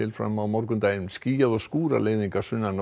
fram á morgundaginn skýjað og skúraleiðingar sunnan og